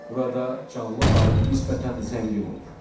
Burada canlı aləm nisbətən zəngin olur.